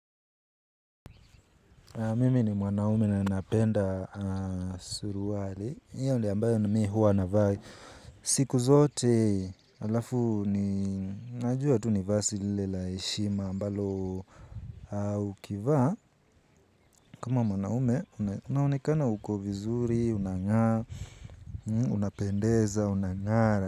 Mimi ni mwanaume na ninapenda suruali, hiyo ndio ambayo mi huwa navaa siku zote alafu ni najua tu ni vazi lile la heshima ambalo ukivaa kama mwanaume unaonekana uko vizuri, unangaa, unapendeza, unangara.